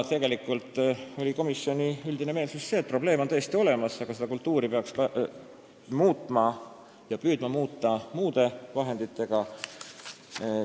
Tegelikult oli komisjoni üldine meelsus see, et probleem on tõesti olemas, aga seda kultuuri peaks püüdma muuta muude vahenditega.